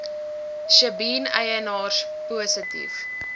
sjebien eienaars positief